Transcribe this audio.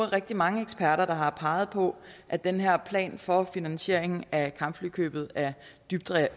rigtig mange eksperter der har peget på at den her plan for finansiering af kampflykøbet er dybt